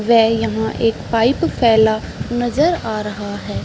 ये यहाँ एक पाइप फैला नजर आ रहा है।